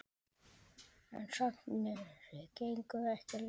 En sagnir gengu ekki lengra.